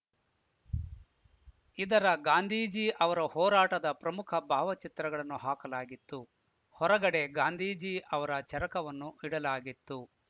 ಇದರ ಗಾಂಧೀಜಿ ಅವರ ಹೋರಾಟದ ಪ್ರಮುಖ ಭಾವಚಿತ್ರಗಳನ್ನು ಹಾಕಲಾಗಿತ್ತು ಹೊರಗಡೆ ಗಾಂಧೀಜಿ ಅವರ ಚರಕವನ್ನು ಇಡಲಾಗಿತ್ತು